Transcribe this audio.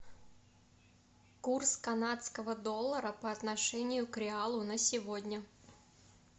курс канадского доллара по отношению к реалу на сегодня